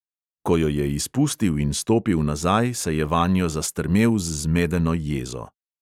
Ko jo je izpustil in stopil nazaj, se je vanjo zastrmel z zmedeno jezo.